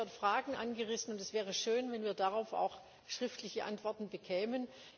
Es sind dort Fragen angerissen, und es wäre schön, wenn wir darauf auch schriftliche Antworten bekämen.